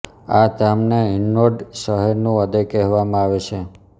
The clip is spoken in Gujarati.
આ ધામને હિન્ડોન શહેરનું હૃદય કહેવામાં આવે છે